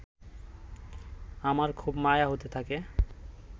আমার খুব মায়া হতে থাকে